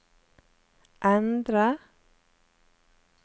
endre